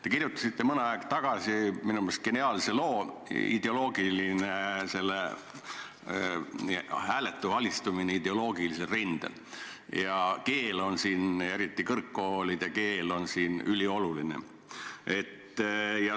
Te kirjutasite mõni aeg tagasi minu meelest geniaalse loo "Hääletu alistumine ideoloogilisel rindel" ja keel, eriti kõrgkoolide keel, on siin ülioluline.